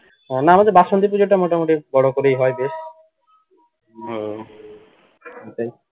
না আমাদের বাসন্তী পূজাটা মোটামুটি বড় করেই হয় বেশ